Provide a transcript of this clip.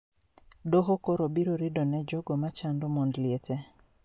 Doho koro biro rido ne jogo machando mond liete